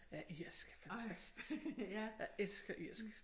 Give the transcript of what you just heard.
Ja irsk fantastisk jeg elsker irsk